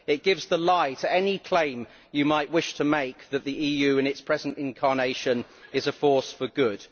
It gives the lie to any claim you might wish to make that the EU in its present incarnation is a force for good.